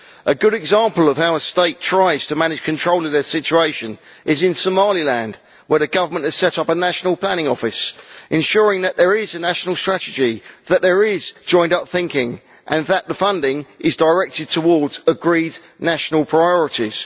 A good example of how a state tries to manage control of its situation is in Somaliland, where the Government has set up a national planning office, ensuring that there is a national strategy that there is joined up thinking and that funding is directed towards agreed national priorities.